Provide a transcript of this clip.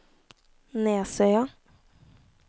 Nesøya